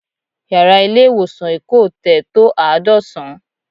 Yàrá ilé ìwòsàn Èkó Hotel tó àádọ́sán